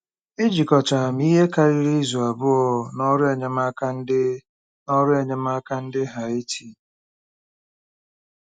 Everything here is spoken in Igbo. Ejikọtara m ihe karịrị izu abụọ n'ọrụ enyemaka ndị n'ọrụ enyemaka ndị Haiti.